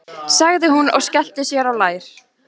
sagði hún og skellti sér á lær.